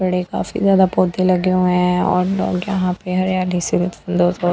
बड़े काफी ज्यादा पौधे लगे हुए हैं और लोग यहाँ पे हरियाली --